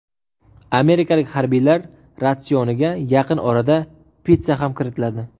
Amerikalik harbiylar ratsioniga yaqin orada pitssa ham kiritiladi.